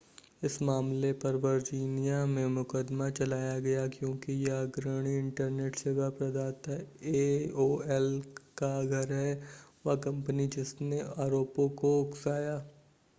इस मामले पर वर्जीनिया में मुकदमा चलाया गया क्योंकि यह अग्रणी इंटरनेट सेवा प्रदाता एओएल का घर है वह कंपनी जिसने आरोपों को उकसाया